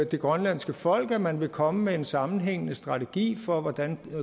det grønlandske folk at man vil komme med en sammenhængende strategi for hvordan